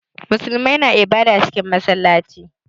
Muslimai na ibada cikin massalaci.